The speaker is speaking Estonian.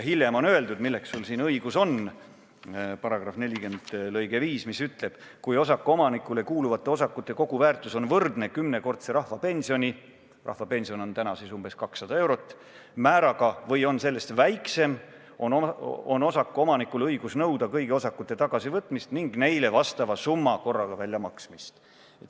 Hiljem on öeldud, milleks sul õigus on –§ 40 lõige 5 ütleb: "Kui osakuomanikule kuuluvate osakute koguväärtus on võrdne kümnekordse rahvapensioni määraga või on sellest väiksem, on osakuomanikul õigus nõuda kõigi osakute tagasivõtmist ning neile vastava summa korraga väljamaksmist.